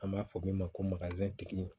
An b'a fɔ min ma ko